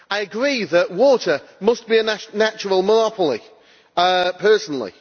I agree that water must be a natural monopoly, personally.